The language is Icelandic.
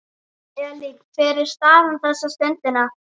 Elín, hver er staðan þessa stundina?